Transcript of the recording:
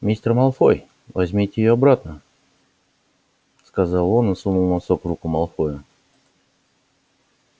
мистер малфой возьмите её обратно сказал он и сунул носок в руку малфоя